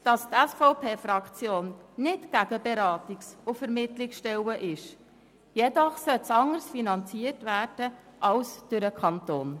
Die SVP-Fraktion ist nicht gegen Beratungs- und Vermittlungsstellen, doch sollten diese anders finanziert werden als durch den Kanton.